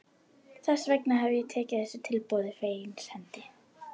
Þess vegna hef ég tekið þessu tilboði fegins hendi.